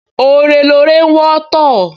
Ore lore ń wọ́tọ̀